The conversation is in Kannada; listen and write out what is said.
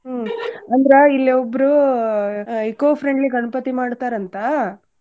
ಹ್ಮ್ ಅಂದ್ರ ಇಲ್ಲೇ ಒಬ್ರೂ eco-friendly ಗಣ್ಪತಿ ಮಾಡ್ತಾರಂತಾ.